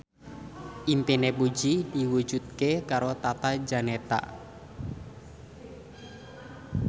impine Puji diwujudke karo Tata Janeta